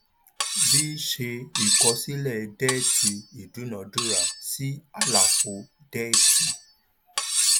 v ṣé ìkọsílẹ déètì ìdúnadúrà sí àlàfo déètì